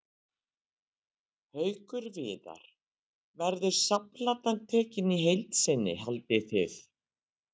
Haukur Viðar: Verður safnplatan tekin í heild sinni haldið þið?